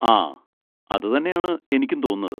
ആ, അതുതന്നെയാണ് എനിക്കും തോന്നുന്നത്.